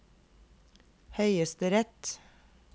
høyesterett